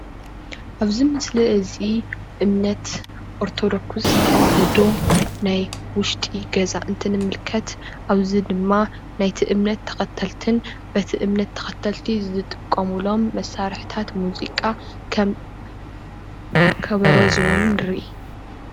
ኣብዚ ምስሊ እዚ እምነት ኦርቶዶክስ ተዋህዶ ናይ ውሽጢ ገዛ እንትንምልከት ኣብዚ ድማ ናይ እቲ እምነት ተኸተልትን በቲ እምነት ተኸተልቲ ዝጥቀሙሎም መሳርሕታት ሙዚቃ ከም ከበሮ ዝበሉ ንርኢ።